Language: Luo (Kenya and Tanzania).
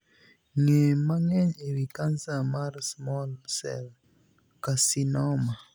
Ng'ee mang'eny e wii kansa mar 'small cell carcinoma'.